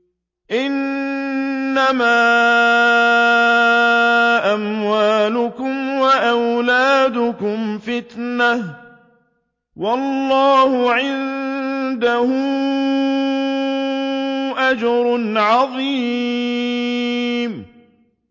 إِنَّمَا أَمْوَالُكُمْ وَأَوْلَادُكُمْ فِتْنَةٌ ۚ وَاللَّهُ عِندَهُ أَجْرٌ عَظِيمٌ